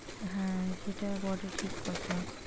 হ্যাঁ সেটা বটে ঠিক কথা।